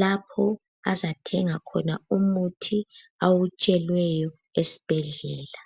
lapho azathenga khona umuthi awutsheliweyo esibhedlela.